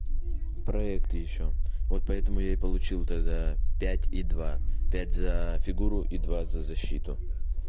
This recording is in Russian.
проект ещё вот поэтому я и получил тогда пять и два пять за фигуру и два защиту